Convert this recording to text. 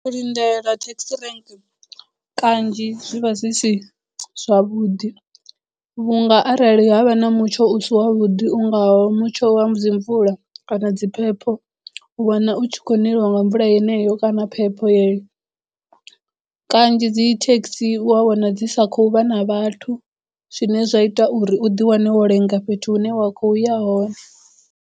U lindela taxi rank kanzhi zwi vha zwi si zwavhuḓi vhunga arali havha na mutsho u si wa vhuḓi u ngaho mutsho wa dzi mvula kana dzi phepho u wana u tshi khou neliwa nga mvula yeneyo kana phepho yeyo kanzhi dzi taxi u ya wana dzi sa khou vha na vhathu zwine zwa ita uri u di wane wo lenga fhethu hune wa khouya hone.